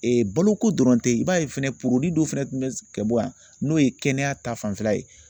baloko dɔrɔn tɛ i b'a ye fɛnɛ dɔ fɛnɛ tun bɛ ka bɔ yan n'o ye kɛnɛya ta fanfɛla ye